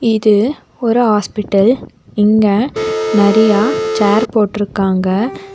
இது ஒரு ஹாஸ்பிடல் இங்க நறைய சேர் போட்டுருக்காங்க.